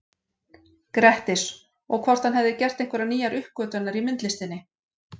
Grettis, og hvort hann hefði gert einhverjar nýjar uppgötvanir í myndlistinni.